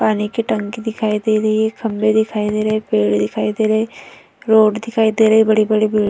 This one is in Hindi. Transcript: पानी की टंकी दिखाई दे रही है खम्बे दिखाई दे रही है पेड़ दिखाई दे रहे हैं। रोड दिखाई दे रहे हैं बड़ी-बड़ी --